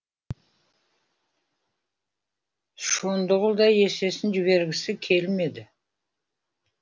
шондығұл да есесін жібергісі келмеді